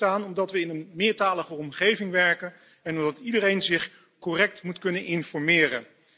De regels bestaan omdat we in een meertalige omgeving werken en omdat iedereen zich correct moet kunnen informeren.